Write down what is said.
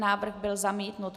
Návrh byl zamítnut.